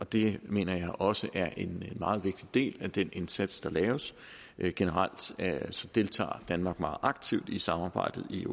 det mener jeg også er en meget vigtig del af den indsats der laves generelt deltager danmark meget aktivt i samarbejdet i